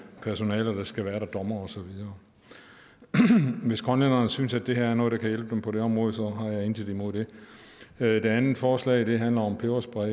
personale der skal være der dommere osv og hvis grønlænderne synes at det her er noget der kan hjælpe dem på det område så har jeg intet imod det det andet forslag handler om peberspray